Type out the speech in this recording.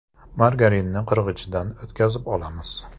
Margarinni qirg‘ichdan o‘tkazib olamiz.